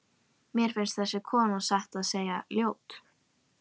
Mér finnst þessi kona satt að segja ljót.